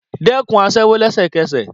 Dẹ́kun aṣẹ́wó lẹ́sẹ̀kẹsẹ̀